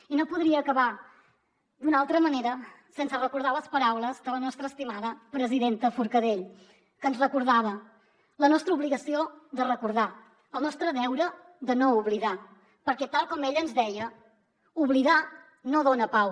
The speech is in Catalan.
i no podria acabar d’una altra manera sense recordar les paraules de la nostra estimada presidenta forcadell que ens recordava la nostra obligació de recordar el nostre deure de no oblidar perquè tal com ella ens deia oblidar no dona pau